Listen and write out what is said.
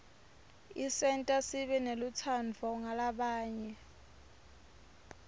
isenta sibe nelutsandvo ngalabanye